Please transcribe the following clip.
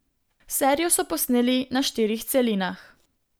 Serijo so posneli na štirih celinah.